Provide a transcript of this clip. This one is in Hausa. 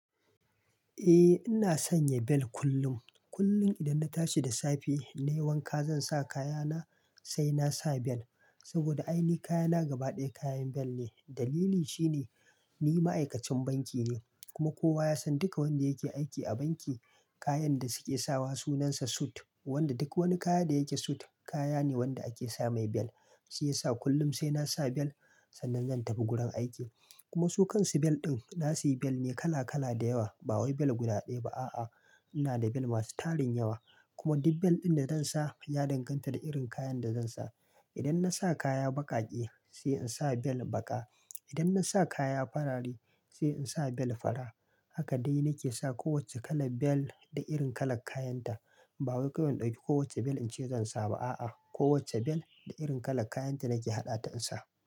Eh ina sanya bel kullum. Kullum idan na tashi da safe na yi wanka zan sa kaya na sai na sa bel. Saboda ainihi kaya na gaba ɗaya kayan bel ne. Dalili shine ni ma'aikacin banki ne kuma kowa ya san duka wanda yake aiki a banki kayan da suke sawa sunan sa suit. Wanda duk wani kaya da yake suit kaya ne wanda ake sa mai bel. Shi yasa kullum sai na sa bel sannan zan tafi gurin aiki. Kuma su kan su bel ɗin na sayi bel mai kala kala da yawa ba wai bel guda ɗaya ba a'a. Ina da bel masu tarin yawa kuma duk bel ɗin da zan sa ya danganta da irin kayan da zan sa. Idan na sa kaya baƙaƙe sai in sa bel baƙa. Idan na sa kaya fararai sai in sa bel fara. Haka dai na ke sa kowacce kalar bel da irin kalar kayan ta. Ba wai kawai in ɗauki kowacce bel in ce zan sa ba a'a. Kowacce bel da irin kalar kayan ta nake haɗa ta in sa.